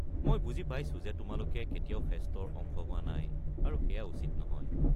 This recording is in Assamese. মই বুজি পাইছো যে তোমালোকে কেতিয়াও ফেষ্টৰ অংশ হোৱা নাই আৰু সেইয়া উচিত নহয়।